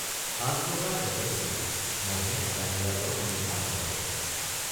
সাঁজ লগাৰ লগে লগেই মহে নগাধিৰাজৰ বন্দনা আৰম্ভ কৰে।